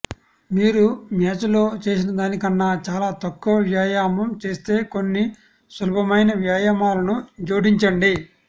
మీరు మ్యాచ్లో చేసినదానికన్నా చాలా తక్కువ వ్యాయామం చేస్తే కొన్ని సులభమైన వ్యాయామాలను జోడించండి